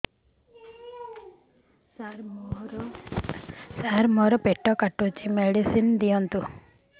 ସାର ମୋର ପେଟ କାଟୁଚି ମେଡିସିନ ଦିଆଉନ୍ତୁ